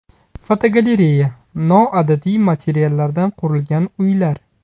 Fotogalereya: Noodatiy materiallardan qurilgan uylar.